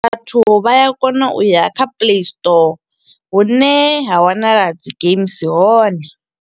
Vhathu vha ya kona u ya kha Play Store hune ha wanala dzi games hone.